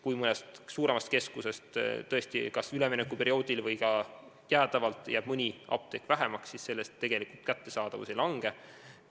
Kui mõnes suuremas keskuses jääb tõesti kas üleminekuperioodil või jäädavalt mõni apteek vähemaks, siis selle tagajärjel ravimite kättesaadavus tegelikult ei halvene.